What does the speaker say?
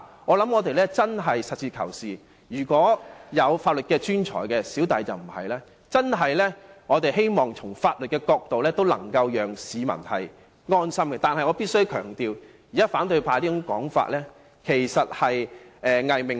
我們真的要實事求是，法律專才——我本人可不是——要從法律的角度讓市民安心，但我必須強調，反對派現時這種說法其實只是個"偽命題"。